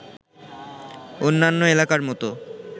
অন্যান্য এলাকার মতো